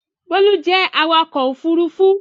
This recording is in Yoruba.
Bólú jẹ́ awakọ̀ ófurufú